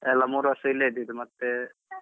ಎಲ್ಲ ಮೂರೂ ವರ್ಷ ಇಲ್ಲೇ ಇದ್ದಿದ್ದು ಮತ್ತೆ.